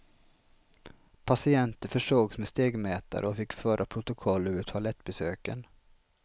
Patienter försågs med stegmätare och fick föra protokoll över toalettbesöken.